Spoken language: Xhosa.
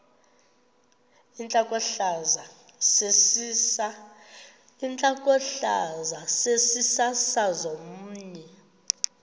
intlokohlaza sesisaz omny